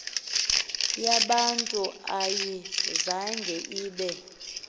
yabantu ayizanga ibe